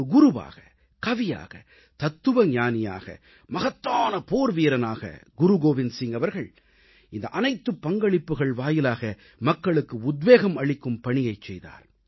ஒரு குருவாக கவியாக தத்துவ ஞானியாக மகத்தான போர்வீரனாக குருகோவிந்த் சிங் அவர்கள் இந்த அனைத்துப் பங்களிப்புகள் வாயிலாக மக்களுக்கு உத்வேகம் அளிக்கும் பணியைச் செய்தார்